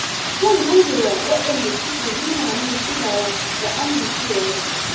Zan godewa waɗanda suke nuna min kulawa da amincewa da ni.